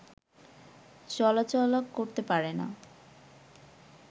চলাচলা করতে পারে না